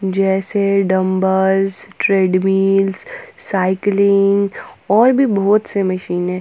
जैसे dumbbell treadmill cycling और भी बहुत से मशीने--